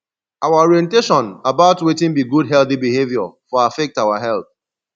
our orientation about wetin be good healthy behavior for affect our health